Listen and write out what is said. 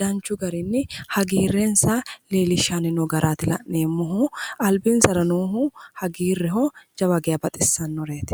danchu garinni hagiirrensa leellishshanni no garaati la'neemmohu. Albinsara noohu hagiirreho jawa geya baxissannoreeti.